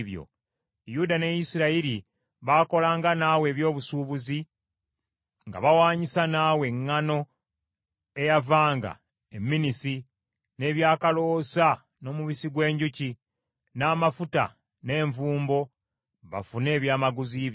“ ‘Yuda ne Isirayiri baakolanga naawe eby’obusuubuzi nga bawaanyisa naawe eŋŋaano eyavanga e Minnisi n’ebyakaloosa, n’omubisi gw’enjuki, n’amafuta n’envumbo, bafune ebyamaguzi byo.